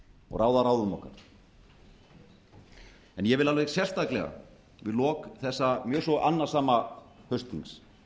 og ráða ráðum okkar ég vil alveg sérstaklega við lok þessa mjög svo annasama haustþings